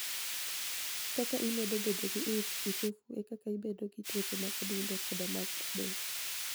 Kaka imedo bedo gi ich uchofu e kaka ibedo gi tuoche mag adunido koda mar del.